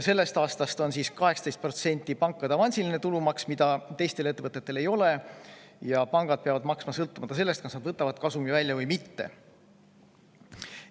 Sellest aastast on 18% pankade avansiline tulumaks, mida teistel ettevõtetel ei ole, ja pangad peavad seda maksma, sõltumata sellest, kas nad võtavad kasumi välja või mitte.